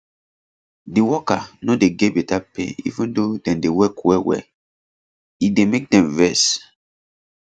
the worker no dey get better pay even though dem dey work wellwell e dey make dem vex